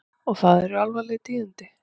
Og það eru alvarleg tíðindi.